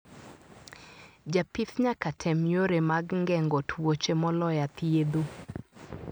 Japith nyaka tem yore mag ngengo twoche moloya thiedho.